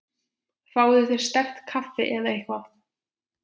Fáðu þér sterkt kaffi eða eitthvað.